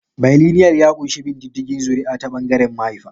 Bailinial ya ƙunshi bin diddigin zuri'a ta ɓangaren mahaifa.